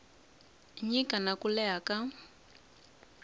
nyika na ku leha ka